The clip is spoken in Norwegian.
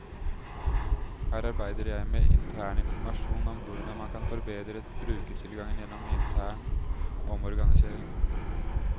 Her arbeider jeg med interninformasjon om hvordan man kan forbedre brukertilgangen gjennom intern omorganisering.